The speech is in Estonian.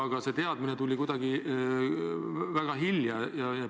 Aga see teadmine tuli kuidagi väga hilja.